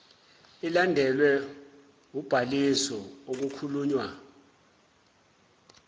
ilandelwe ubhaliso okukhulunywa